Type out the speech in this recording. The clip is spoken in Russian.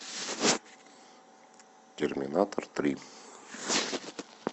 терминатор три